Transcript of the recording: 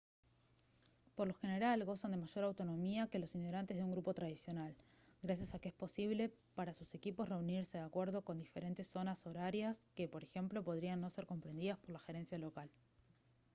por lo general gozan de mayor autonomía que los integrantes de un grupo tradicional gracias a que es posible para sus equipos reunirse de acuerdo con diferentes zonas horarias que por ejemplo podrían no ser comprendidas por la gerencia local